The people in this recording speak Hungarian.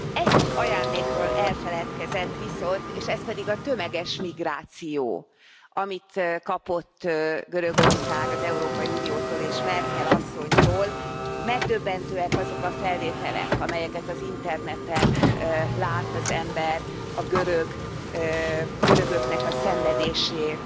Egy ajándékról elfeledkezett viszont, és ez pedig a tömeges migráció, amit kapott Görögország az Európai Uniótól és Merkel asszonytól. Megdöbbentőek azok a felvételek, amelyeket az interneten lát az ember a görögöknek a szenvedéséről.